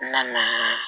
N na ni